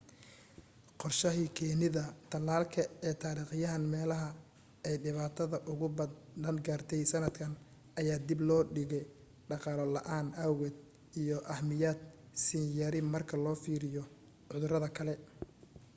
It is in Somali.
qorshahii keenida talaalka ee taarikhiyan meelaha aay dhibatada ugu badan gaartey sanadkan ayaa dib loo dhige dhaqaalo la'aan awgeed iyo ahmiyad siin yari marka loo fiiriyo cudurada kale